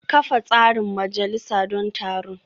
Kafa tsarin majalisa don taron